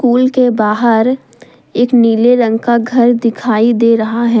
School के बाहर एक नीले रंग का घर दिखाई दे रहा है।